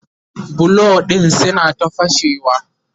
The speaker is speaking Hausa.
bulo ɗin suna ta fashewa